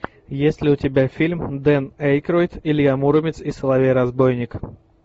есть ли у тебя фильм дэн эйкройд илья муромец и соловей разбойник